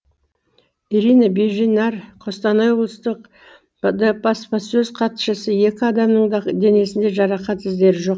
ирина беженарь қостанай облыстық іід баспасөз хатшысы екі адамның да денесінде жарақат іздері жоқ